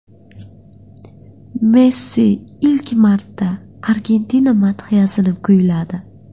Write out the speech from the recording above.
Messi ilk marta Argentina madhiyasini kuyladi.